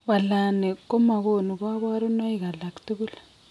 Wallani koma konu koborunaik alagtugul